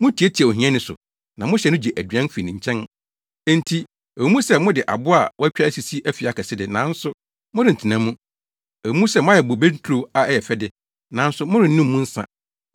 Mutiatia ohiani so na mohyɛ no gye aduan fi ne nkyɛn. Enti ɛwɔ mu sɛ mode abo a wɔatwa asisi afi akɛse de, nanso morentena mu; ɛwɔ mu sɛ moayɛ bobe nturo a ɛyɛ fɛ de nanso morennom mu nsa.